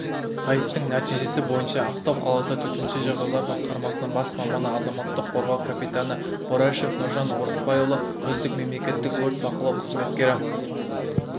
сайыстың нәтижесі бойынша ақтау қаласы төтенше жағдайлар басқармасының бас маманы азаматтық қорғау капитаны борашев нұржан орысбайұлы үздік мемлекеттік өрт бақылау қызметкері